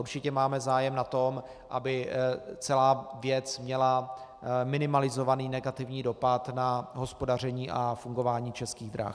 Určitě máme zájem na tom, aby celá věc měla minimalizovaný negativní dopad na hospodaření a fungování Českých drah.